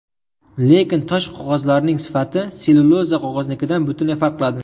Lekin tosh qog‘ozning sifati sellyuloza qog‘oznikidan butunlay farq qiladi.